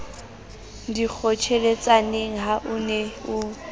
dikgotjheletsaneng ha o ne o